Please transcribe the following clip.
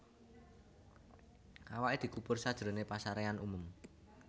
Awaké dikubur sajroné pasaréan umum